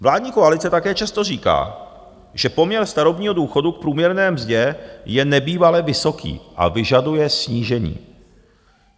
Vládní koalice také často říká, že poměr starobního důchodu k průměrné mzdě je nebývale vysoký a vyžaduje snížení.